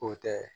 O tɛ